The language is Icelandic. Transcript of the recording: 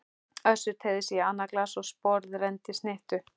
Össur teygði sig í annað glas og sporðrenndi snittu.